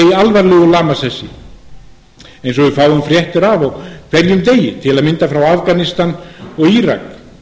í alvarlegu lamasessi eins og við fáum fréttir af á hverjum degi til að mynda frá afganistan og írak